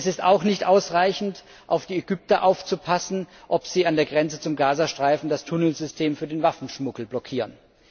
Es ist auch nicht ausreichend, auf die Ägypter aufzupassen, ob sie an der Grenze zum Gaza Streifen das Tunnelsystem für den Waffenschmuggel blockieren.